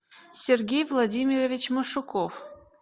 сергей владимирович машуков